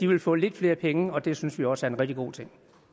vil få lidt flere penge og det synes vi også er en rigtig god ting